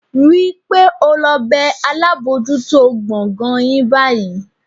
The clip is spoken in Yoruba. Rí i pé o lọ bẹ́ alábòójútó gbọ̀ngàn yín báyìí